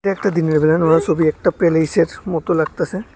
একটা দিনের বেলা নোলা ছবি একটা পেলিসের মতন লাগতেসে।